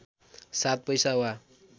सात पैसा वा